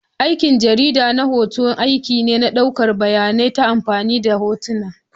Aikin jarida na hoto aiki ne na ɗaukar bayanai ta amfani da hotuna.